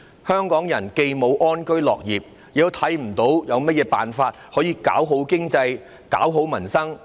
香港人既無能力安居樂業，也看不見有甚麼辦法可以搞好經濟、搞好民生。